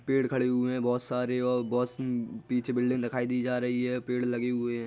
Pad खड़े हुए है बोहोत सारे औ बॉस म पीछे बिल्डिंग दिखाई दी जा रही हैं। पैड लगे हुए हैं।